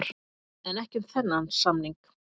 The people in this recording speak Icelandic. En ekki um þennan samning.